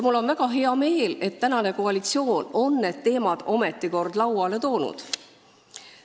Mul on väga hea meel, et tänane koalitsioon on need teemad ometi kord lauale toonud.